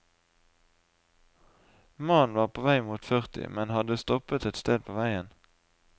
Mannen var på vei mot førti, men hadde stoppet et sted på veien.